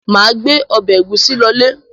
Mà gbé ọbẹ̀ ẹ̀gúsí lọlé.